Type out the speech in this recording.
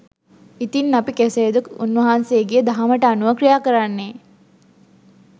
ඉතින් අපි කෙසේද උන්වහන්සෙගේ දහමට අනුව ක්‍රියා කරන්නේ